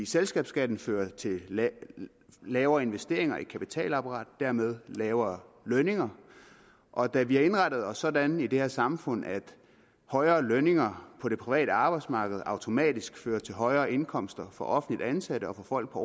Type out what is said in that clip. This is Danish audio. selskabsskatten fører til lavere investeringer i kapitalapparatet dermed lavere lønninger og da vi har indrettet os sådan i det her samfund at højere lønninger på det private arbejdsmarked automatisk fører til højere indkomster for offentligt ansatte og for folk på